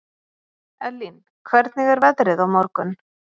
Ellín, hvernig er veðrið á morgun?